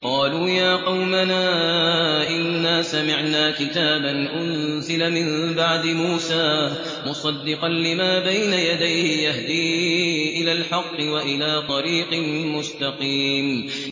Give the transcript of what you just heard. قَالُوا يَا قَوْمَنَا إِنَّا سَمِعْنَا كِتَابًا أُنزِلَ مِن بَعْدِ مُوسَىٰ مُصَدِّقًا لِّمَا بَيْنَ يَدَيْهِ يَهْدِي إِلَى الْحَقِّ وَإِلَىٰ طَرِيقٍ مُّسْتَقِيمٍ